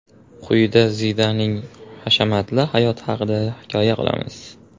Quyida Zidaning hashamatli hayoti haqida hikoya qilamiz.